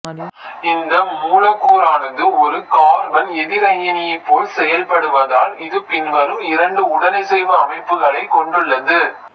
இந்த மூலக்கூறானது ஒரு கார்பன்எதிரயனியைப் போல் செயல்படுவதால் இது பின்வரும் இரண்டு உடனிசைவு அமைப்புகளைக் கொண்டுள்ளது